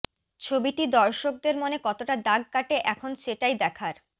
ছবিটি দর্শকদের মনে কতটা দাগ কাটে এখন সেটাই দেখার